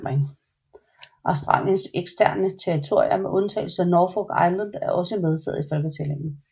Australiens eksterne territorier med undtagelse af Norfolk Island er også medtaget i folketællingen